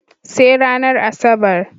Sai ranar Asabar.